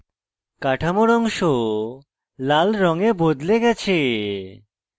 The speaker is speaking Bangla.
কাঠামোর অংশ লাল রঙে বদলে গেছে